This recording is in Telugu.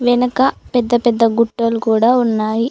వెనక పెద్ద పెద్ద గుట్టలు కూడా ఉన్నాయి.